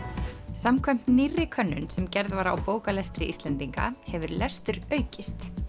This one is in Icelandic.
samkvæmt nýrri könnun sem gerð var á bókalestri Íslendinga hefur lestur aukist